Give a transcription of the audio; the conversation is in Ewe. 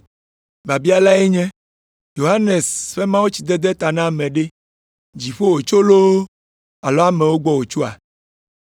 Biabia lae nye, ‘Yohanes ƒe mawutsidede ta na ame ɖe, Dziƒo wòtso loo alo amewo gbɔ wòtsoa?’ ”